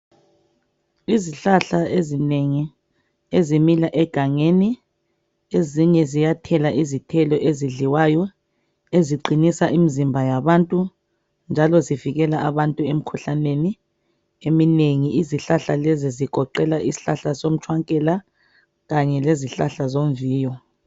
Izihlahla ezinengi ezimila egangeni ezinye ziyathela izithelo ezidliwayo eziqinisa imizimba yabantu njalo zivikela abantu emikhuhlaneni eminengi izihlahla lezi zigoqela isihlahla somtshwankela kanye lezomviyo.